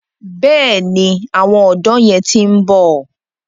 Bẹ́ẹ̀ni, àwọn ọ̀dọ́ yẹn ti ń bọ̀.